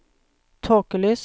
tåkelys